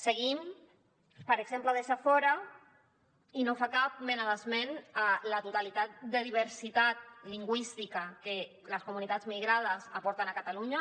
seguint per exemple deixa fora i no fa cap mena d’esment a la totalitat de diversitat lingüística que les comunitats migrades aporten a catalunya